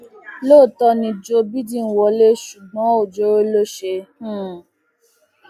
lóòótọ ni joe bidden wọlé ṣùgbọn ọjọọrọ ló ṣe um